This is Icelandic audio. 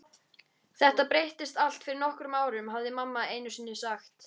Þetta breyttist allt fyrir nokkrum árum, hafði mamma einusinni sagt.